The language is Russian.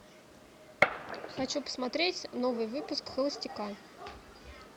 хочу посмотреть новый выпуск холостяка